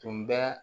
Tun bɛ